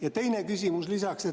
Ja teine küsimus lisaks.